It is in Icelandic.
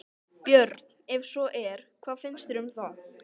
Björn: Ef svo er, hvað finnst þér um það?